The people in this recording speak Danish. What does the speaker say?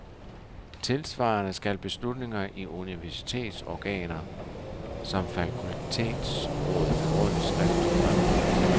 Tilsvarende skal beslutninger i universitetsorganer, som fakultetsråd, begrundes skriftligt fremover.